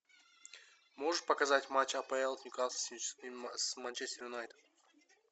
можешь показать матч апл ньюкасл с манчестер юнайтед